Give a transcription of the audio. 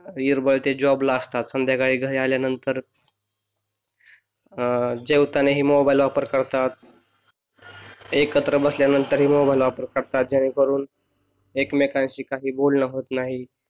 बाहेर ते असतात संध्याकाळी ते घरी आल्यानंतर अं जेवताना हे मोबाइल वापर करतात एकत्र बसल्यानंतर मोबाइल वापर करतात जेणे करून एकमेकांशी काही बोलणं होत नाही.